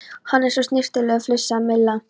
Hann er svo snyrtilegur flissaði Milla.